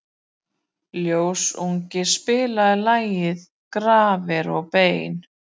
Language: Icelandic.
Ljósunn, spilaðu lagið „Grafir og bein“.